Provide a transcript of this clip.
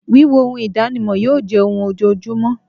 Wííwo oun ìdánimọ̀ yíò jẹ́ oun ojojúmọ́